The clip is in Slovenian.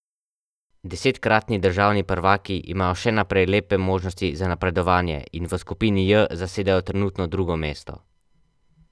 Desetkratni državni prvaki imajo še naprej lepe možnosti za napredovanje in v skupini J zasedajo trenutno drugo mesto.